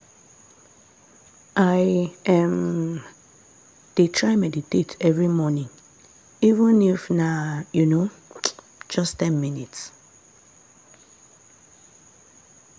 i um dey try meditate every morning even if na um just ten minutes.